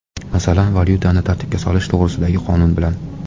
Masalan, valyutani tartibga solish to‘g‘risidagi qonun bilan.